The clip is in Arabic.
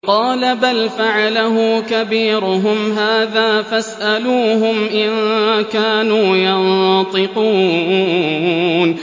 قَالَ بَلْ فَعَلَهُ كَبِيرُهُمْ هَٰذَا فَاسْأَلُوهُمْ إِن كَانُوا يَنطِقُونَ